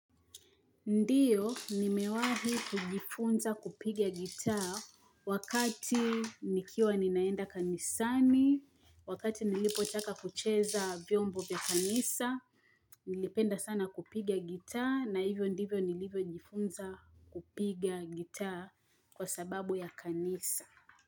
Ndiyo, nimewahi kujifunza kupigia gitaa wakati nikiwa ninaenda kanisani, wakati nilipotaka kucheza vyombo vya kanisa, nilipenda sana kupigia gitaa na hivyo ndivyo nilivyojifunza kupigia gitaa kwa sababu ya kanisa.